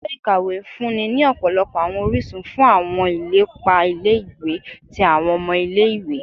Ilé-ìkàwé ń fúnni ní ọ̀pọ̀lọpọ̀ àwọn orísun fún àwọn ilepa ilé-ìwé tí àwọn ọmọ ilé-ìwé